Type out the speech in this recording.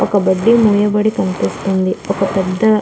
ఒక బడ్డి మూయబడి కనిపిస్తుంది ఒక పెద్ద --